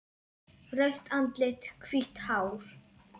Rautt andlit, hvítt hár.